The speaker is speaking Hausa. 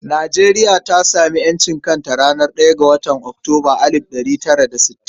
Nijeriya ta sami ƴancin kanka a ranar ɗaya ga watan Oktoba alid da ɗari tara da sittin.